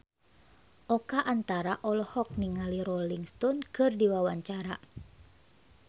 Oka Antara olohok ningali Rolling Stone keur diwawancara